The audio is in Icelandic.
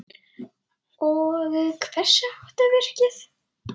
Og hversu hátt er virkið?